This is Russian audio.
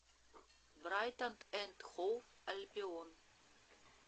брайтон энд хоув альбион